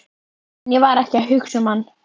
En ég var ekki að hugsa um hann.